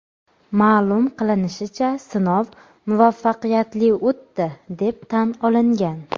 Ma’lum qilinishicha, sinov muvaffaqiyatli o‘tdi, deb tan olingan.